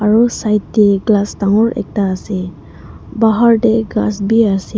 aru side teh glass dangor ekta ase bahar teh ghass bhi ase.